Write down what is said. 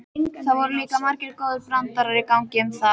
Það voru líka margir góðir brandarar í gangi um það.